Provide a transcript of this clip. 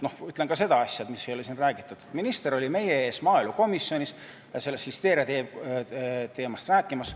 Ütlen seda, millest ei ole siin räägitud, et minister oli meie ees maaelukomisjonis listeeriateemast rääkimas.